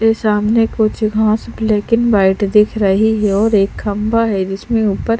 ये सामने कुछ घास ब्लैक एण्ड व्हाइट दिख रही है और एक खम्भा है जिसमें ऊपर--